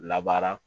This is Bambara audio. Labaara